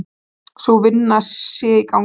Sú vinna sé í gangi.